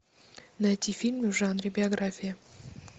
найти фильмы в жанре биография